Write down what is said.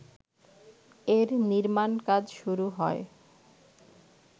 এর নির্মাণকাজ শুরু হয়